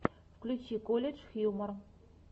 включи колледж хьюмор